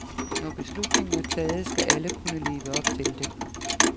Når beslutningen er taget, skal alle kunne leve op til den.